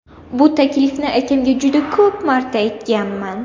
Bu taklifni akamga juda ko‘p marta aytganman.